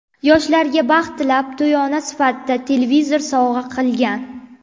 Yoshlarga baxt tilab, to‘yona sifatida televizor sovg‘a qilgan.